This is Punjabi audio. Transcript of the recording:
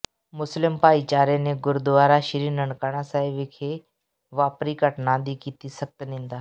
ਮੁਸਲਿਮ ਭਾਈਚਾਰੇ ਨੇ ਗੁਰਦੁਆਰਾ ਸ੍ਰੀ ਨਨਕਾਣਾ ਸਾਹਿਬ ਵਿਖੇ ਵਾਪਰੀ ਘਟਨਾ ਦੀ ਕੀਤੀ ਸਖਤ ਨਿੰਦਾ